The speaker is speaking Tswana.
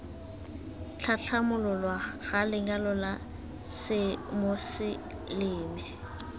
tlhatlhamololwa ga lenyalo la semoseleme